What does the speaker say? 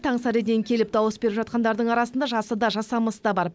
таңсәріден келіп дауыс беріп жатқандардың арасында жасы да жасамысы да бар